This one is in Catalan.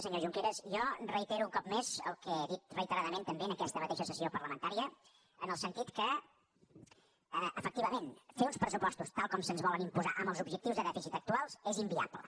senyor junqueras jo reitero un cop més el que he dit reiteradament també en aquesta mateixa sessió parlamentària en el sentit que efectivament fer uns pressupostos tal com se’ns volen imposar amb els objectius de dèficit actuals és inviable